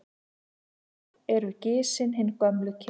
Oft eru gisin hin gömlu ker.